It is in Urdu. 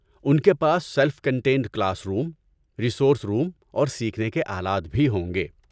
ان کے پاس self contained class room, resource room اور سیکھنے کے آلات بھی ہوں گے۔